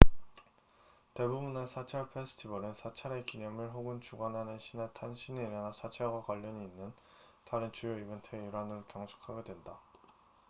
대부분의 사찰 페스티벌은 사찰의 기념일 혹은 주관하는 신의 탄신일이나 사찰과 관련이 있는 다른 주요 이벤트의 일환으로 경축하게 된다